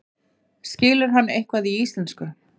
Skilur hann eitthvað í íslensku?